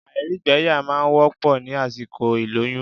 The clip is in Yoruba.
Àìrígbẹyà máa n wọ́pọ̀ ní àsìkò ìlóyún